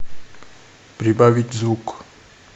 прибавить звук